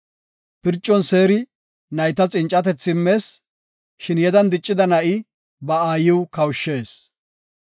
Pircon seeri naytas cincatethi immees; shin yedan diccida na7i ba aayiw kawushshees.